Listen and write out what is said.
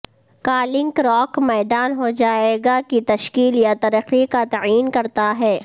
کا لنک راک میدان ہو جائے گا کی تشکیل یا ترقی کا تعین کرتا ہے